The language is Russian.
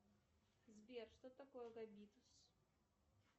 сбер что такое габитус